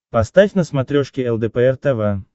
поставь на смотрешке лдпр тв